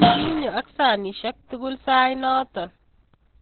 Kinyo ak sanisiek tugul sait noto